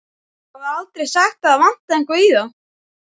Það er aldrei sagt að það vanti eitthvað í þá.